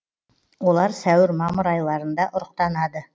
олар сәуір мамыр айларында ұрықтанады